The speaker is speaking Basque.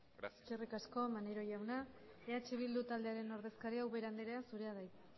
gracias eskerrik asko maneiro jauna eh bildu taldearen ordezkaria ubera andrea zurea da hitza